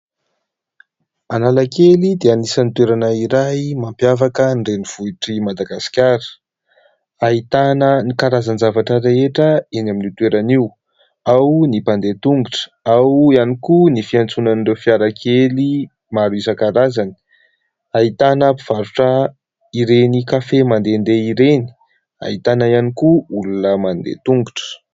Analakely dia isany toerana iray mampiavaka ny renivohitr'i madagaskara. Ahitana ny karazan-javatra rehetra eny amin'io toerana io ; ao ny mpandeha tongotra ao iany koa ny fiantsonan'ireo fiara kely maro isan-karazany ahitana mpivarotra ireny kafe mandehadeha ireny. Ahitana iany koa olona mandeha tongotra.